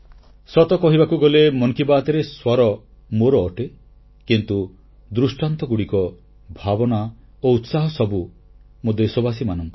ସତ କହିବାକୁ ଗଲେ ମନ କି ବାତ୍ରେ ସ୍ୱର ମୋର ଅଟେ କିନ୍ତୁ ଉଜ୍ଜ୍ବଳ ଦୃଷ୍ଟାନ୍ତ ଭାବନା ଓ ଉତ୍ସାହ ସବୁ ମୋ ଦେଶବାସୀଙ୍କର